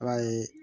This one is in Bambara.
I b'a ye